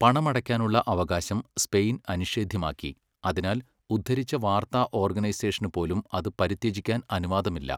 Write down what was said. പണമടയ്ക്കാനുള്ള അവകാശം സ്പെയിൻ അനിഷേധ്യമാക്കി, അതിനാൽ ഉദ്ധരിച്ച വാർത്താ ഓർഗനൈസേഷനുപോലും അത് പരിത്യജിക്കാൻ അനുവാദമില്ല.